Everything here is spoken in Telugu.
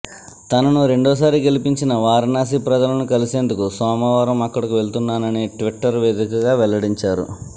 తనను రెండోసారి గెలిపించిన వారణాసి ప్రజలను కలిసేందుకు సోమవారం అక్కడకు వెళ్తున్నానని ట్విటర్ వేదికగా వెల్లడించారు